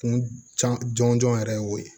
Kun can jɔnjɔn yɛrɛ ye o ye